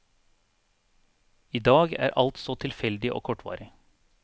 I dag er alt så tilfeldig og kortvarig.